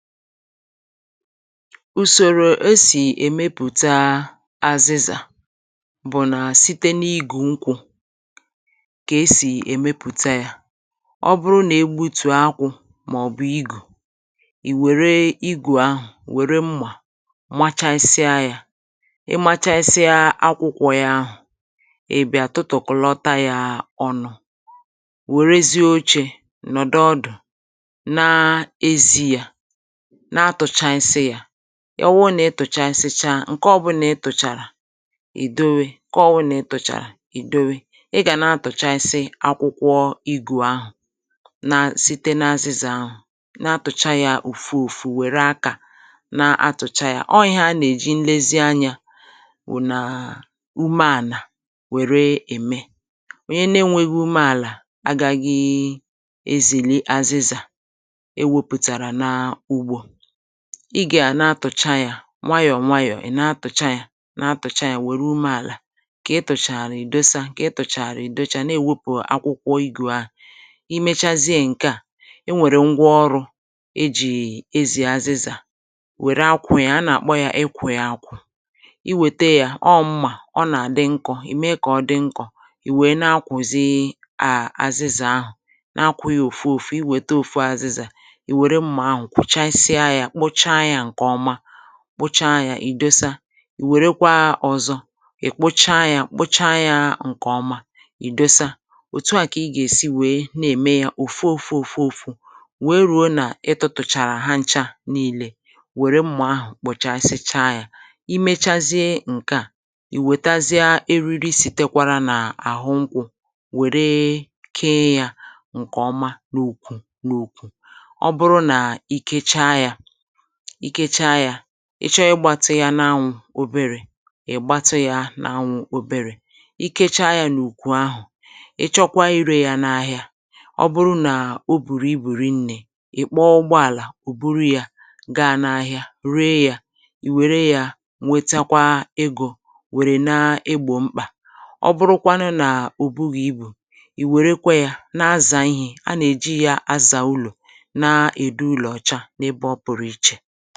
ùsòrò esì èmepùta azịzà bụ̀ nà site n’igù nkwụ̇ kà esì èmepùta yȧ ọ bụrụ nà egbutù akwụ̇ màọ̀bụ̀ igù ì wère igù ahụ̀ wère mmà machasịa yȧ ị machasịa akwụkwọ yȧ ahụ̀ ị bịa tụtụ̀kụ̀lọta yȧ ọnụ̇ wère zi ochė nọ̀dụ ọdụ̀ na-ezi̇ yȧ ọ wụ nà ịtụ̀cha isi cha ǹkẹ ọbụlà ị tụ̀chàrà ì dowee kà ọwụ nà ị tụ̀chàrà ì dowee ị gà nà atụ̀cha isi akwụkwọ igù ahụ̀ nà site n’azịzà ahụ̀ na-atụcha yȧ ùfù ùfù wère akȧ nà atụ̀cha yȧ ọọ̇ [filler] ihe anà-èji nlezi anyȧ wùnàà ume ànà wère ème onye nȧ-ėnwėghi̇ ume àlà agaghị ezìli azịzà ị gà à na-atụ̀cha yȧ nwayọ̀ nwayọ̀ ị̀ na-atụ̀cha yȧ na-atụ̀cha yȧ nwèrè umė àlà kà ị tụ̀chàrà ì dosa kà ị tụ̀chàrà ì docha nà èwepù akwụkwọ ịgù a i mechazie ǹke a e nwèrè ngwa ọrụ̇ e jì ezì azịzà wère akwụ̀ ya a nà àkpọ ya ị kwè ya akwụ̀ i wète yȧ ọ mmà ọ nà àdị nkọ̇ ì mee kà ọ dị nkọ̇ ì wèe na-akwụ̀zi a azịzà ahụ̀ na-akwụ yȧ òfu òfu i wète òfu azịzà kpocha ya ì dosa ì wèrekwa ọzọ ì kpocha ya kpocha ya ǹkè ọma ì dosa òtu a kà ị gà èsi wèe na-ème ya òfu òfu òfu òfu wee ruo nà ịtọ̇tùchàrà ha ncha nílé wère mmà ahụ̀ kpọchasịcha ya i mechazịe ǹkè a ì wètazịa eriri sìtekwara n’àhụ nkwụ̇ wère kee ya ǹkè ọma n’òkwù n’òkwù ikecha yȧ ị chọọ igbȧtȧ ya n’anwụ̀ oberė ị̀ gbata ya n’anwụ̇ oberė ikecha yȧ n’ùkwù ahụ̀ ị̀ chọkwa ere ya n’ahịa ọ bụrụ nà o bùrù ibùri nne ị̀ kpọọ ụgbọàlà ò buru yȧ ga n’ahịa ruo ya ì wère ya nwetakwa egȯ wère n’egbò mkpà ọ bụrụkwanụ nà ò bugheibù ì wèrekwa yȧ na-azà ihe a nà-èji ya azà ụlọ̀ na-èdu ụlọ̀cha achị [tone fall]